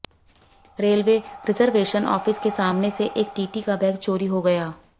railway reservation office के सामने से एक टीटी का बैग चोरी हो गया